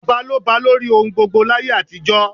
Ọba ló ba lórí ohun gbogbo láyé àtijọ́.